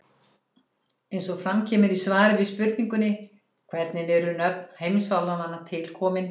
Eins og fram kemur í svari við spurningunni Hvernig eru nöfn heimsálfanna til komin?